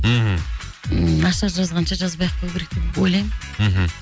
мхм нашар жазғанша жазбай ақ қою керек деп ойлаймын мхм